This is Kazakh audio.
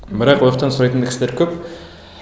бірақ ояқтан сұрайтын да кісілер көп